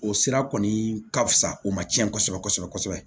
O sira kɔni ka fusa o ma cɛn kosɛbɛ kosɛbɛ kosɛbɛ